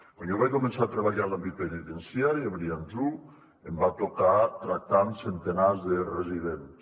quan jo vaig començar a treballar en l’àmbit penitenciari a brians un em va tocar tractar amb centenars de residents